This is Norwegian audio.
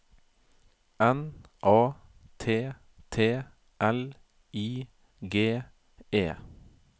N A T T L I G E